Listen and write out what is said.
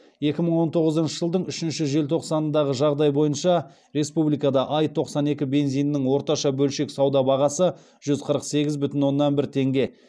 екі мың он тоғызыншы жылдың үшінші желтоқсанындағы жағдай бойынша республикада аи тоқсан екі бензинінің орташа бөлшек сауда бағасы жүз қырық сегіз бдүтін оннан бір теңге